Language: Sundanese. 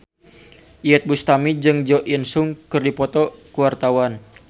Iyeth Bustami jeung Jo In Sung keur dipoto ku wartawan